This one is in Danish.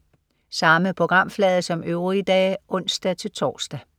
Samme programflade som øvrige dage (ons-tors)